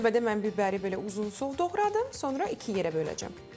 İlk növbədə mən bibəri belə uzunsov doğradım, sonra iki yerə böləcəm.